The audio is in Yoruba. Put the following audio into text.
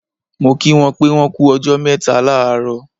Mo kí wọn pé wọ́n kú ọjọ́ mẹ́ta láàárọ̀